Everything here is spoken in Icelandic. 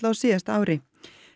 á síðasta ári